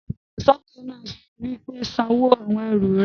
apèròsọ́kọ́ náà wí pé, "san owó àwon ẹrù rẹ!